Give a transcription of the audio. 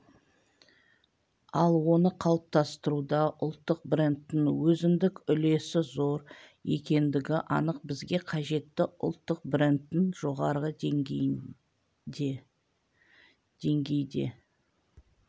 ал оны қалыптастыруда ұлттық брендтің өзіндік үлесі зор екендігі анық бізге қажетті ұлттық брендтің жоғары деңгейде